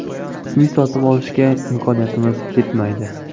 Uy sotib olishga imkoniyatimiz yetmaydi.